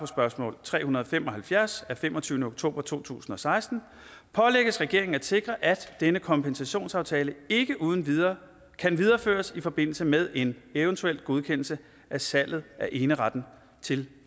spørgsmål tre hundrede og fem og halvfjerds af femogtyvende oktober to tusind og seksten pålægges regeringen at sikre at denne kompensationsaftale ikke uden videre kan videreføres i forbindelse med en eventuel godkendelse af salget af eneretten til